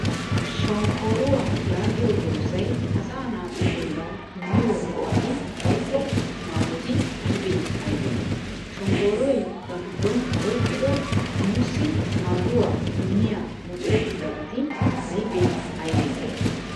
Shonkkooruwaa yaagiyo doozay asaa naatu bollawu immiyo go'ati woykko maadoti aybee aybee? Shonkkooroy ba giddon oyqqido nuussi maaduwaa immiya mucurettidabati aybee aybee?